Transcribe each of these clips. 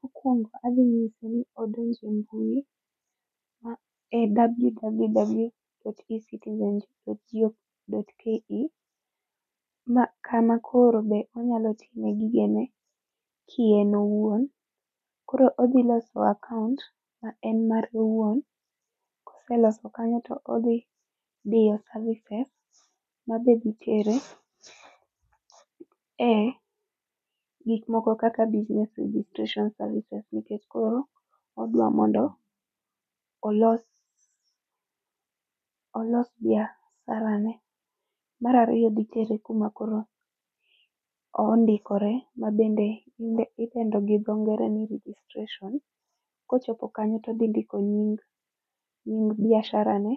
Mokwongo adhi nyise ni odonj e mbui, ma e www.ecitizen.go.ke. Ma kana koro be onyalo time gige ne kien owuon. Koro odhiloso akaont ma en mare owuon, koseloso kanyo to odhi diyo services mabe dhitere e gik moko kaka business registration services nikech koro odwa mondo olos olos biashara ne. Mar ariyo dhi tere kuma koro o ondikore mabende idendo gi dho ngere ni registration. Kochopo kanyo todhi ndiko nying nying biashara ne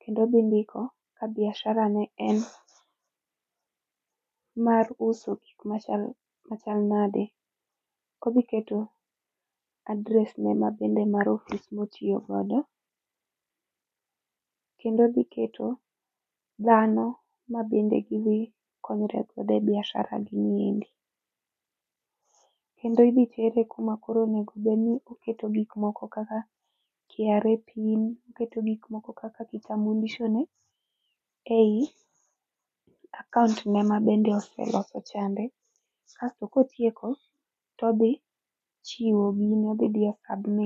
kendo odhi ndiko ka biashara ne en mar uso gik machal machal nade. Odhiketo, adres ne mabende mar ofis motiyo godo kendo odhiketo dhano ma bende gidhikonyre godo e biashara gi ni endi. Kendo idhi tere kuma koro onego bedni oketo gik moko kaka, KRA pin, oketo gik moko kaka kitambulisho ne ei akaont ne ma bende oseloso chande. Kasto kotieko, todhi chiwo gini, odhi diyo submit